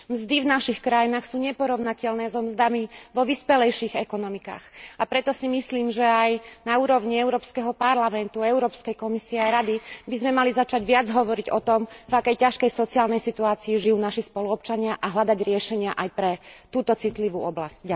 Mzdy v našich krajinách sú neporovnateľné so mzdami vo vyspelejších ekonomikách, a preto si myslím, že aj na úrovni Európskeho parlamentu, Európskej komisie a Rady by sme mali začať viac hovoriť o tom, v akej ťažkej sociálnej situácii žijú naši spoluobčania, a hľadať riešenia aj pre túto citlivú oblasť.